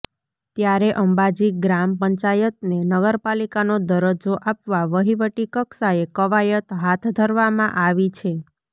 ત્યારે અંબાજી ગ્રામ પંચાયતને નગરપાલિકાનો દરજ્જો આપવા વહીવટી કક્ષાએ કવાયત હાથ ધરવામાં આવી છે